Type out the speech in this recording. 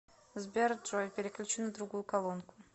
сбер джой переключи на другую колонку